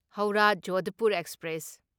Howrah Jodhpur express